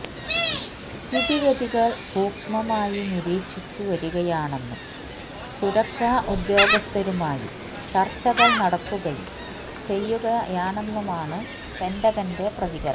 സ്ഥിതിഗതികള് സൂഷ്മമായി നിരീക്ഷിച്ചു വരികയാണെന്നും സുരക്ഷാ ഉദ്യോഗസ്ഥരുമായി ചര്ച്ചകള് നടത്തുകയും ചെയ്യുകയാണെന്നാണ് പെന്റഗന്റെ പ്രതികരണം